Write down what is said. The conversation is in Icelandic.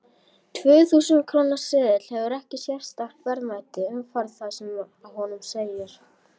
Tvö þúsund króna seðill hefur ekkert sérstakt verðmæti umfram það sem á honum segir.